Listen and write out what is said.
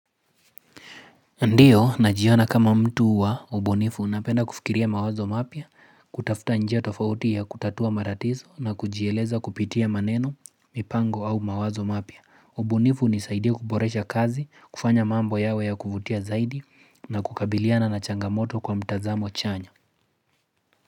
Ndiyo na jiona kama mtu wa ubunifu napenda kufikiria mawazo mapya, kutafuta njia tofauti ya kutatua maratizo na kujieleza kupitia maneno, mipango au mawazo mapya. Ubunifu hunisaidia kuporesha kazi, kufanya mambo yawe ya kuvutia zaidi na kukabiliana na changamoto kwa mtazamo chanya.